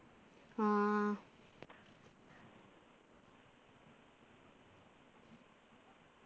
ആഹ്